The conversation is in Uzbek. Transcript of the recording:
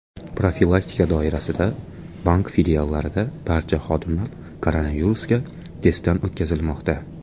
Profilaktika doirasida bank filiallarida barcha xodimlar koronavirusga testdan o‘tkazilmoqda.